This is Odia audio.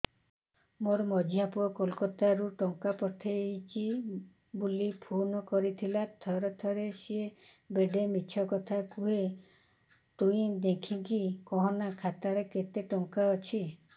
ମୋର ମଝିଆ ପୁଅ କୋଲକତା ରୁ ଟଙ୍କା ପଠେଇଚି ବୁଲି ଫୁନ କରିଥିଲା ଥରେ ଥରେ ସିଏ ବେଡେ ମିଛ କଥା କୁହେ ତୁଇ ଦେଖିକି କହନା ଖାତାରେ କେତ ଟଙ୍କା ଅଛି